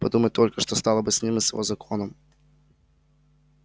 подумать только что стало бы с ним и с его законом